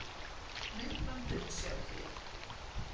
Myndbandið má sjá hér